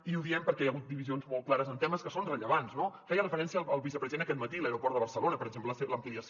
i ho diem perquè hi ha hagut divisions molt clares en temes que són rellevants no feia referència el vicepresident aquest matí a l’aeroport de barcelona per exemple a l’ampliació